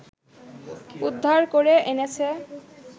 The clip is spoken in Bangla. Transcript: উদ্ধার করে এনেছে